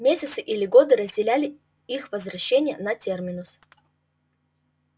месяцы или годы разделяли их возвращения на терминус